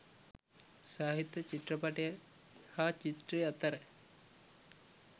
සාහිත්‍ය චිත්‍රපටය හා චිත්‍රය අතැර